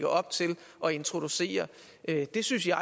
op til at introducere det synes jeg